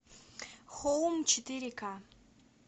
хоум четыре ка